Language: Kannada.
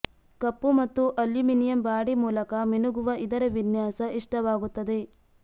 ಕಪ್ಪು ಮತ್ತು ಅಲ್ಯುಮಿನಿಯಂ ಬಾಡಿ ಮೂಲಕ ಮಿನುಗುವ ಇದರ ವಿನ್ಯಾಸ ಇಷ್ಟವಾಗುತ್ತದೆ